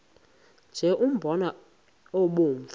nje umbona obomvu